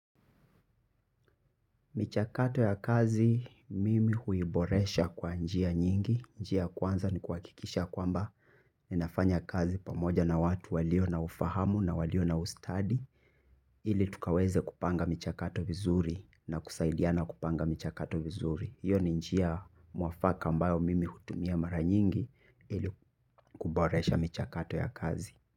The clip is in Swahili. Michakato ya kazi mimi huiboresha kwa njia nyingi, njia ya kwanza ni kuhakikisha kwamba ninafanya kazi pamoja na watu walio na ufahamu na walio na ustadi. Ili tukaweze kupanga michakato vizuri na kusaidiana kupanga michakato vizuri. Iyo ni njia mwafaka ambayo mimi hutumia mara nyingi ili kuboresha michakato ya kazi.